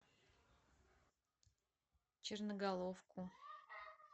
черноголовку